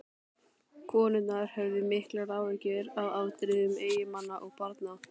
Konurnar höfðu miklar áhyggjur af afdrifum eiginmanna og barna.